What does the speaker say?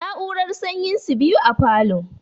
Na'urar sanyin su biyu a falo